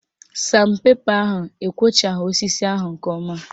San pepa ahụ ekwochaghị osisi ahụ nke ọma